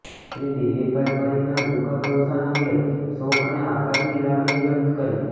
શ્રી દિલીપભાઇ પરીખના દુઃખદ અવસાન અંગે શોક અને આઘાતની લાગણી વ્યકત કરી